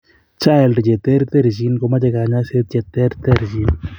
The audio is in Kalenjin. chILD cheterterchin ko mache kanyaiset che terterchin